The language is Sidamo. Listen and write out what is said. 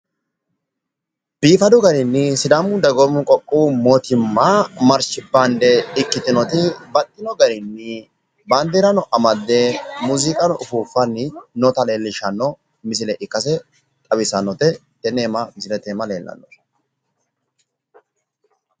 biifadu garinni sidaamu dagoomu qoqqowu mootimma marshi baande ikkitinoti baxxino garinni baandeerano amadde muuziqanno uffuffanni nota leellishshanno misile ikkase xawissannote tenne misile iima leellannori